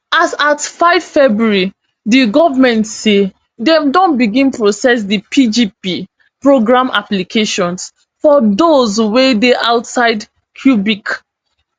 as at five february di goment say dem don begin process di pgp program applications for dose wey dey outside quebec